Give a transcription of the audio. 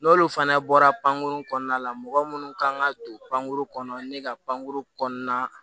N'olu fana bɔra pankuru kɔnɔna la mɔgɔ munnu kan ka don pankuru kɔnɔ ne ka pankuru kɔnɔna na